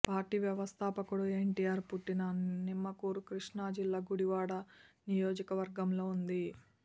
party వ్యవస్ధాపకుడు ఎన్టీఆర్ పుట్టిన నిమ్మకూరు కృష్ణా జిల్లా గుడివాడ నియోజకవర్గంలో ఉంది